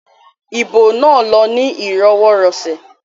Ibo náà lọ ní ìrọwọirọ̀sẹ̀